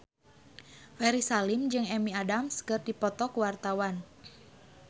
Ferry Salim jeung Amy Adams keur dipoto ku wartawan